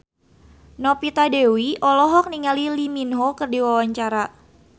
Novita Dewi olohok ningali Lee Min Ho keur diwawancara